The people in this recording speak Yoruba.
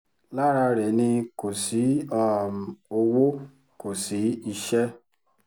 lára rẹ̀ ni kò sí um owó kò sí iṣẹ́